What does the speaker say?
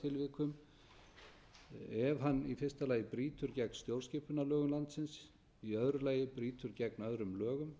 tilvikum ef hann fyrsti brýtur gegn stjórnskipunarlögum landsins önnur brýtur gegn öðrum lögum